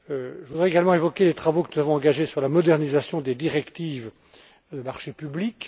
Je voudrais également évoquer les travaux que nous avons engagés sur la modernisation des directives Marchés publics.